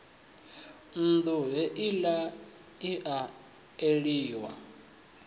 nnḓu heila i a eliwa